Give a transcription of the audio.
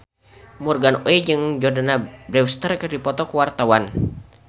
Morgan Oey jeung Jordana Brewster keur dipoto ku wartawan